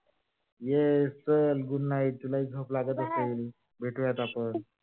ये चाल. good night तुलाही झोप लागत असेल भेटूयात आपण.